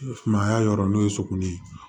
Sumaya yɔrɔ n'o ye suguni ye